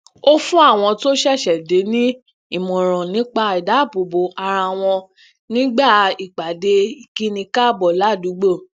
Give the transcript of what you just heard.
ó fún àwọn tó ṣẹṣẹ dé ní ìmọràn nípa idáàbòbo ara wọn nígbà ipade ikini káàbọ ládùúgbò